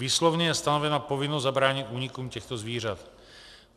Výslovně je stanovena povinnost zabránit únikům těchto zvířat.